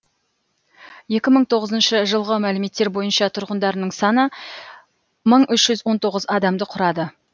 екі мың тоғызыншы жылғы мәліметтер бойынша тұрғындарының саны мың үш жүз он тоғыз адамды құрады